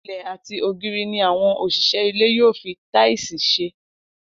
Ilẹ̀ àti ògiri ni àwọn òṣìṣẹ́ ilé yóò fi táìsì ṣe